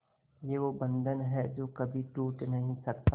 ये वो बंधन है जो कभी टूट नही सकता